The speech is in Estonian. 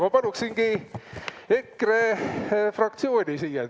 Ma paluksingi EKRE fraktsiooni siia.